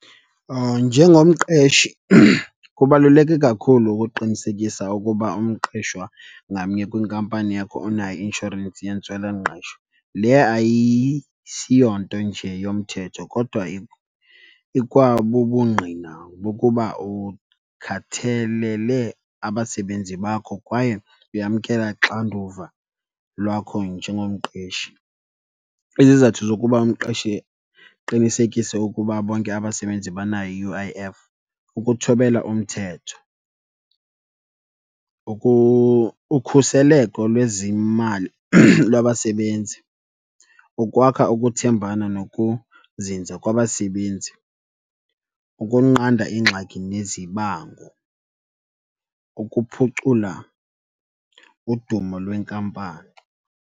Njengomqeshi, kubaluleke kakhulu ukuqinisekisa ukuba umqeshwa ngamnye kwinkampani yakho unayo i-inshorensi yentswelangqesho. Le ayisiyonto nje yomthetho kodwa ikwabubungqina bokuba ukhathelele abasebenzi bakho kwaye uyamkela ixanduva lwakho njengomqeshi. Izizathu zokuba umqeshi qinisekise ukuba bonke abasebenzi banayo i-U_I_F kukuthobela umthetho, ukhuseleko lwezimali lwabasebenzi, ukwakha ukuthembana nokuzinza kwabasebenzi, ukunqanda ingxaki nezibango, ukuphucula udumo lwenkampani.